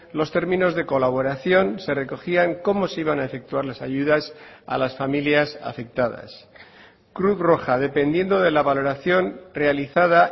los términos de colaboración se recogían cómo se iban a efectuar las ayudas a las familias afectadas cruz roja dependiendo de la valoración realizada